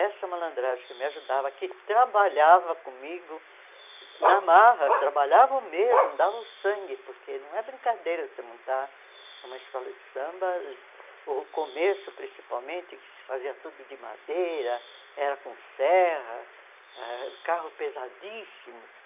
Essa malandragem que me ajudava, que trabalhava comigo na marra, trabalhava mesmo, dava o sangue, porque não é brincadeira você montar uma escola de samba, o começo, principalmente, que se fazia tudo de madeira, era com serra, ãh carros pesadíssimos.